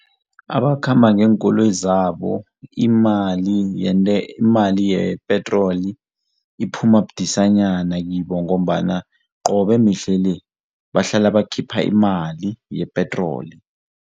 Abakhamba ngeenkoloyi zabo imali yepetroli iphuma budisanyana kibo ngombana qobe mihle le bahlala bakhipha imali yepetroli.